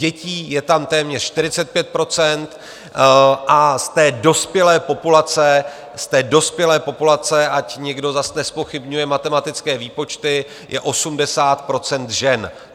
Dětí je tam téměř 45 % a z dospělé populace, z té dospělé populace, ať někdo zas nezpochybňuje matematické výpočty, je 80 % žen.